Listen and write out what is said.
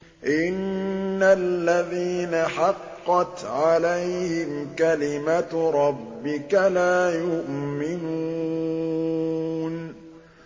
إِنَّ الَّذِينَ حَقَّتْ عَلَيْهِمْ كَلِمَتُ رَبِّكَ لَا يُؤْمِنُونَ